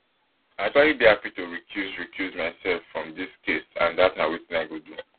i actually dey happy to recuse recuse mysef from dis case and dat na wetin i go do